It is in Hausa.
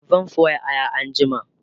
zan soya Aya anjima